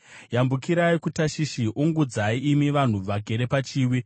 Yambukirai kuTashishi; ungudzai, imi vanhu vagere pachiwi.